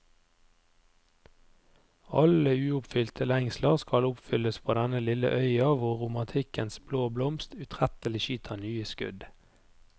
Alle uoppfylte lengsler skal oppfylles på denne lille øya hvor romantikkens blå blomst utrettelig skyter nye skudd.